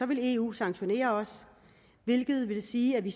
vil eu sanktionere os hvilket vil sige at vi